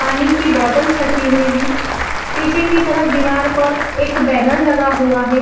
पानी की बॉटल्स रखी हुई हैं। पीछे की तरफ दीवार पर एक बैनर लगा हुआ है।